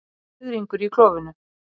Fiðringur í klofinu.